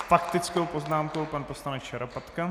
S faktickou poznámkou pan poslanec Šarapatka.